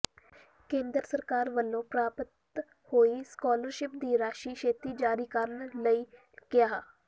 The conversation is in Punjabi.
ਕੇਂਦਰ ਸਰਕਾਰ ਵੱਲੋਂ ਪ੍ਰਾਪਤ ਹੋਈ ਸਕਾਲਰਸ਼ਿਪ ਦੀ ਰਾਸ਼ੀ ਛੇਤੀ ਜਾਰੀ ਕਰਨ ਲਈ ਕਿਹਾ